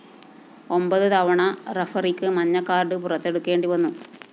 ഒമ്പത് തവണ റഫറിക്ക് മഞ്ഞക്കാര്‍ഡ് പുറത്തെടുക്കേണ്ടിവന്നു